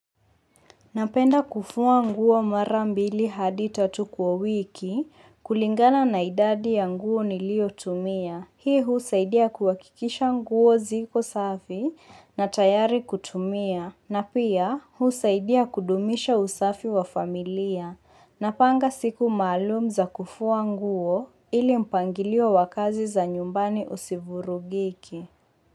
Napenda kufua nguo mara mbili hadi tatu kwa wiki kulingana na idadi ya nguo niliotumia. Hii husaidia kuhakikisha nguo ziko safi na tayari kutumia na pia husaidia kudumisha usafi wa familia napanga siku maalum za kufua nguo ili mpangilio wa kazi za nyumbani usivurugike.